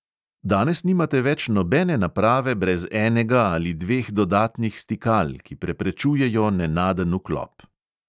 Danes nimate več nobene naprave brez enega ali dveh dodatnih stikal, ki preprečujejo nenaden vklop.